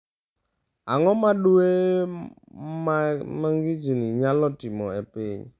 Ang’o ma dwe ma ng’ich nyalo timo e piny?